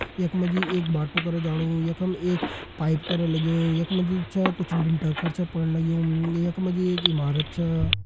यख मा जी एक बाटू कर जाणूयखम एक पाइप कर लग्युं यख मा जी जु छ कुछ लिंटर खर छ पण लग्युं यख मा जी एक ईमारत छ।